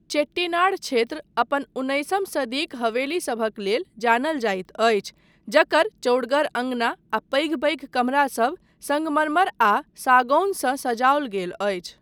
चेट्टीनाड क्षेत्र अपन उन्नैसम सदीक हवेलीसभक लेल जानल जाइत अछि, जकर चौड़गर अँगना आ पैघ पैघ कमरा सब सङ्गमरमर आ सागौन सँ सजाओल गेल अछि।